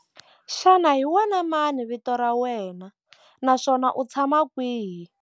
Xana hi wena mani vito ra wena naswona u tshama kwihi?